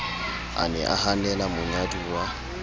a ne a hanela monyaduwa